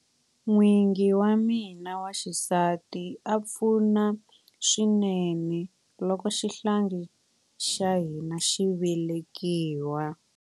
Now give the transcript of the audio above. N'wingi wa mina wa xisati a pfuna swinene loko xihlangi xa hina xi velekiwa.